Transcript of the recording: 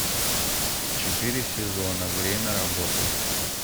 четыре сезона время работы